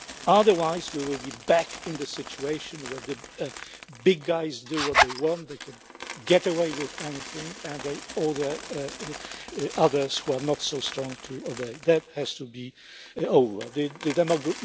Otherwise, we will be back in the situation where the big guys do what they want, they can get away with anything and they order the others are not so strong to obey. That has to be over.